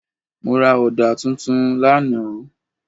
Mo ra ọ̀dà tuntun lánàá.